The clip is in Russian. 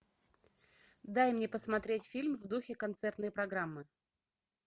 дай мне посмотреть фильм в духе концертной программы